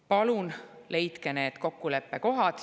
Palun leidke need kokkuleppekohad!